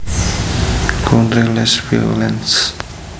Contre les violents